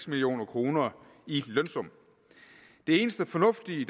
mio kroner i lønsum det eneste fornuftige